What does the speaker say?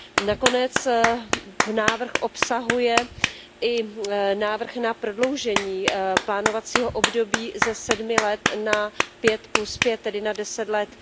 Nakonec návrh obsahuje i návrh na prodloužení plánovacího období ze sedmi let na pět plus pět, tedy na deset let.